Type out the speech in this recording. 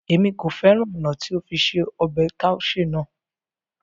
Émi ko fẹran ọna ti o fi se ọbẹ taushe naa